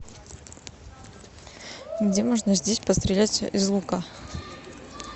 где можно здесь пострелять из лука